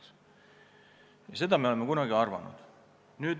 Seda arvamust me oleme kunagi esitanud.